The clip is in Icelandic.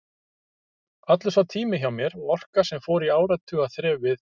Allur sá tími hjá mér og orka, sem fór í áratuga þref við